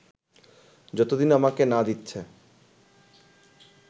যতদিন আমাকে না দিচ্ছে